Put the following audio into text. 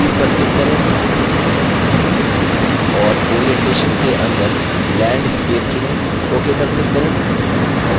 properties पर click करें और orientation के अंदर landscape चुनें ok पर click करें